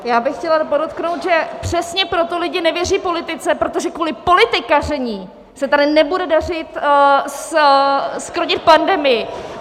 Já bych chtěla podotknout, že přesně proto lidé nevěří politice, protože kvůli politikaření se tady nebude dařit zkrotit pandemii.